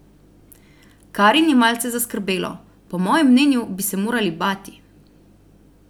Karin je malce zaskrbelo: "Po mojem mnenju bi se morali bati.